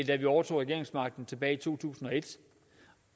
da vi overtog regeringsmagten tilbage i to tusind